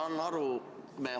Tänan!